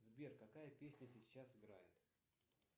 сбер какая песня сейчас играет